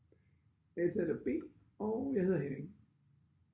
Jeg er taler B og jeg hedder Henning